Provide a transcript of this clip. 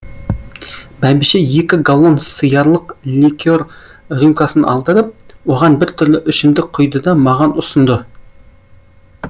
бәйбіше екі галлон сыярлық ликер рюмкасын алдырып оған біртүрлі ішімдік құйды да маған ұсынды